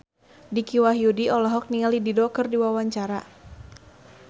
Dicky Wahyudi olohok ningali Dido keur diwawancara